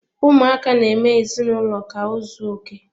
Ụmụaka na-eme ezinụlọ ka ozuoke.